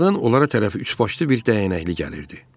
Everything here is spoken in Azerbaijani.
Bir azdan onlara tərəf üçbaşlı bir dəyənəkli gəlirdi.